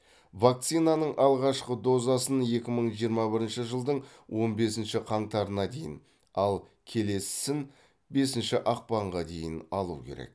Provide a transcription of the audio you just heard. вакцинаның алғашқы дозасын екі мың жиырма бірінші жылдың он бесінші қаңтарына дейін ал келесісін бесінші ақпанға дейін алу керек